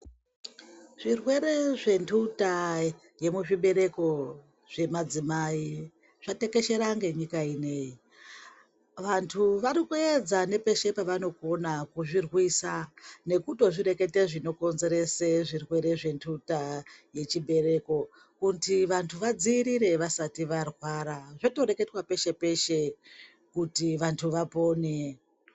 Zvirwere zvendhonda yemuzvibereko zvemadzimai zvatekeshera ngenyika inei, vantu varikuedza ngepeshe pavanogona kuzvirwisa nekutozvireketa zvinokonzeresa zvirwere zvendhota yezvibereko kuti vanhu vadziirire vasati varwara zvotoreketwa peshe peshe kuti vantu vapone.